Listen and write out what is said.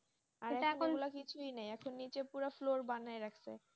অরে নিচে পুরো fro বানিয়ে রাখছে